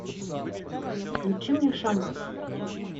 включи мне шаман